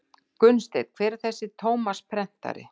Gunnsteinn:- Hver er þessi Tómas prentari?